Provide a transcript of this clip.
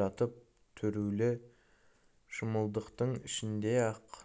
жатып түрулі шымылдықтың ішінде ақ